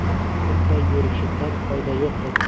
Bunday yurishimdan foyda yo‘q edi.